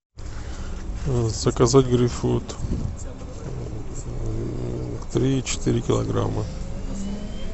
заказать грейпфрут три четыре килограмма